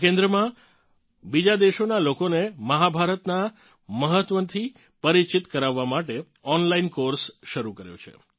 આ કેન્દ્રમા બીજાં દેશોનાં લોકોને મહાભારતનાં મહત્વથી પરિચિત કરાવવા માટે ઓનલાઇન કોર્સ શરૂ કર્યો છે